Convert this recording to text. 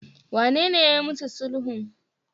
wanene yayi musu sulhun?